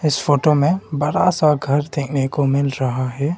इस फोटो में बरा सा घर देखने को मिल रहा है।